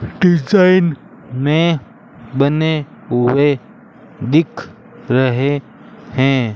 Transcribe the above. Design में बने हुए दिख रहे हैं।